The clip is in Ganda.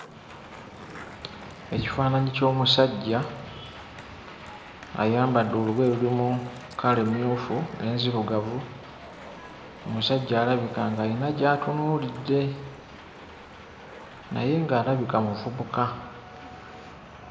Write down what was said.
Ekifaananyi ky'omusajja ayambadde olugoye olulimu kkala emmyufu n'ezirugavu. Omusajja alabika ng'ayina gy'atunuulidde naye ng'alabika muvubuka.